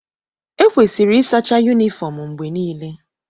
Ekwesịrị ịsacha yunifọọm mgbe niile.